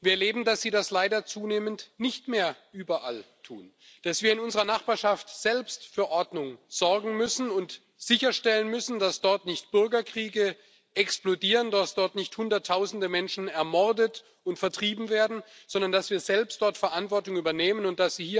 Wir erleben, dass sie das leider zunehmend nicht mehr überall tun, dass wir in unserer Nachbarschaft selbst für Ordnung sorgen und sicherstellen müssen, dass dort nicht Bürgerkriege explodieren und hunderttausende Menschen ermordet und vertrieben werden, und dass wir selbst dort Verantwortung übernehmen müssen.